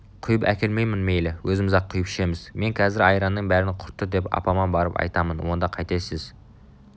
құйып әкелмеймін мейлің өзіміз-ақ құйып ішеміз мен қазір айранның бәрін құрттыдеп апама барып айтамын онда қайтесіз